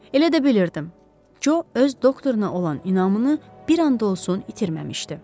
Elə də bilirdim ki o öz doktoruna olan inamını bir an da olsun itirməmişdi.